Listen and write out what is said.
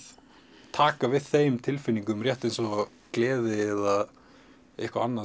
taka við þeim tilfinningum rétt eins og gleði eða eitthvað annað